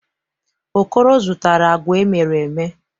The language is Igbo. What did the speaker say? Okoro zụtara agwa emere eme.